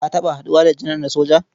Ka taɓa haɗuwa da janar na soja?